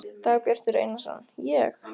Dagbjartur Einarsson: Ég?